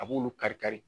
A b'olu kari kari